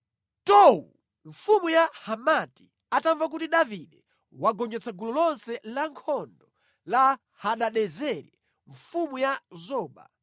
Tou, mfumu ya Hamati atamva kuti Davide wagonjetsa gulu lonse lankhondo la Hadadezeri mfumu ya Zoba,